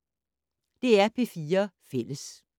DR P4 Fælles